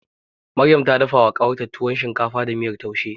Maryam ta dafawa ƙawarta tuwo shinkafa da miyar taushe.